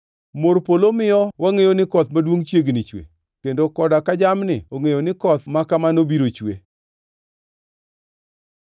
Mor polo miyo wangʼeyo ni koth maduongʼ chiegni chue, kendo koda ka jamni ongʼeyo ni koth ma kamano biro chue.